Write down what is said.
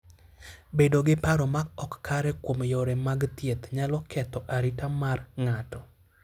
Bedo gi paro ma ok kare kuom yore mag thieth nyalo ketho arita mar ng'ato.